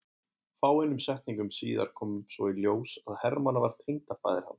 Fáeinum setningum síðar kom svo í ljós að Hermann var tengdafaðir hans.